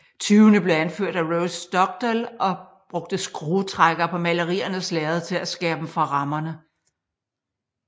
Tyvene blev anført af Rose Dugdale og brugte skrutrækkere på maleriernes lærred til at skære dem fra rammerne